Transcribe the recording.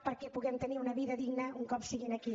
perquè puguin tenir una vida digna un cop siguin aquí